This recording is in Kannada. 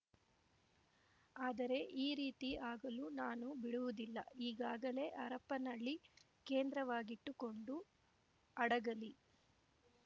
ಆದರೆ ಈ ರೀತಿ ಆಗಲು ನಾನು ಬಿಡುವುದಿಲ್ಲ ಈಗಾಗಲೇ ಹರಪನಹಳ್ಳಿ ಕೇಂದ್ರವಾಗಿಟ್ಟುಕೊಂಡು ಹಡಗಲಿ